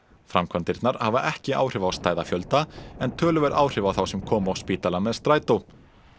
framkvæmdirnar hafa ekki áhrif á stæðafjölda en töluverð áhrif á þá sem koma á spítalann með strætó